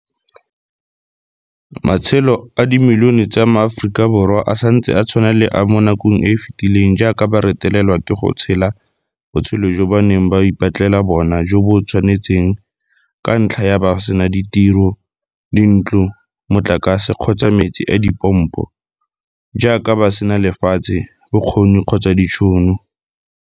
Matshelo a le dimilione tsa MaAforika Borwa a santse a tshwana le a mo nakong e e fetileng jaaka ba retelelwa ke go tshela botshelo jo ba neng ba ipatlela bona jo bo ba tshwanetseng ka ntlha ya fa ba sena ditiro, dintlo, motlakase kgotsa metsi a dipompo, jaaka ba sena lefatshe, bokgoni kgotsa ditšhono.